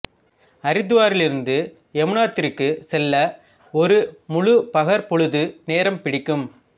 அரித்வாரிலிருந்து யமுனோத்திரிக்கு செல்ல ஒரு முழுப் பகற்பொழுது நேரம் பிடிக்கும்